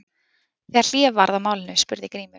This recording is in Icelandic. Þegar hlé varð á málinu spurði Grímur